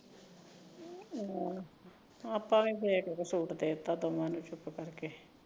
ਆਪਾ ਵੀ ਸੂਟ ਦੇ ਦਿੱਤਾ ਦੋਵਾਂ ਨੂੰ ਚੁਪ ਕਰਕੇ